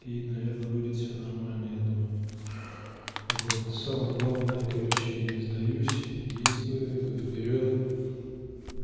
и наверное будет все нормально я думаю вот самое главное короче не сдаюсь действую иду вперёд